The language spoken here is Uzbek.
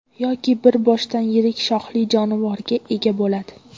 yoki bir boshdan yirik shoxli jonivorga ega bo‘ladi.